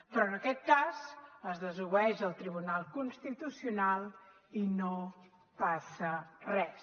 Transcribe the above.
però en aquest cas es desobeeix el tribunal constitucional i no passa res